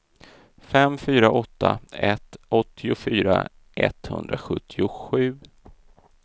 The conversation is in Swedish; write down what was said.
fem fyra åtta ett åttiofyra etthundrasjuttiosju